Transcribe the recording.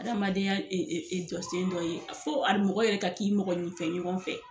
Adamadenya e e e jɔsen dɔ ye a fo a mɔgɔ yɛrɛ ka k'i mɔgɔnifɛn ɲɔgɔn fɛ